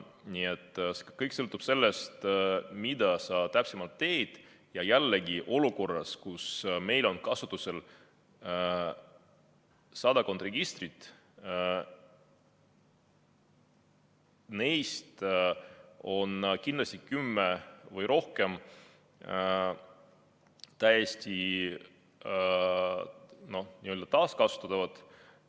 Nii et kõik sõltub sellest, mida sa täpselt teed, ja olukorras, kus meil on kasutusel sadakond registrit, on neist kindlasti kümme või rohkem täiesti n-ö taaskasutatavad.